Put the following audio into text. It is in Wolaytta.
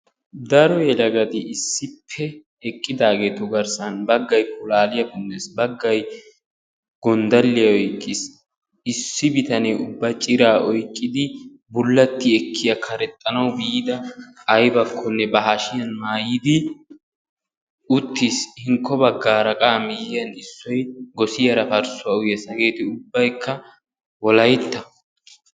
Daro yelagati issippe eqqidaageetu garssan baggay pulaaliya punnes baggay gonddalliya oyiqqis, issi bitqnee ubba ciraa oyiqidi bullatti ekkiya karexxanawu biida ayibakkonne ba hashiyan maayidi uttis. Hinkko baggaara qa a miyyiyan issoy gosiyaara parsuwa uyyes. Hegeeti ubbayikka wolayitta.